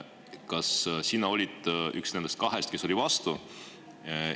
Kas sina olid üks nendest kahest, kes oli vastu?